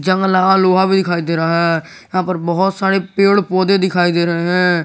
जंग लगा लोहा भी दिखाई दे रहा है यहां पर बहोत सारे पेड़ पौधे दिखाई दे रहे हैं।